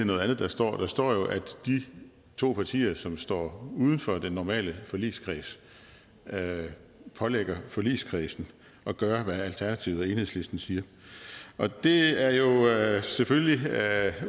noget andet der står der står jo at de to partier som står uden for den normale forligskreds pålægger forligskredsen at gøre hvad alternativet og enhedslisten siger og det er jo selvfølgelig